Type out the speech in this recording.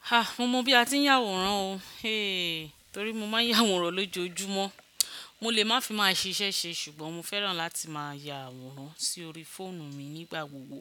Ha! Mo mọ bí a ti ń yàwòrán o. Héé torí mo ma ń yàwòrán lójoojúmọ́. Mo lè má fi máa ṣe iṣẹ́ ṣe ṣùgbọ́n mo fẹ́ràn láti máa ya àwòrán sí orí fóònù mi nígbà gbogbo.